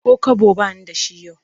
Ko kwabo ba ni da shi yau